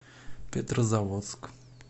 петрозаводск